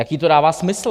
Jaký to dává smysl?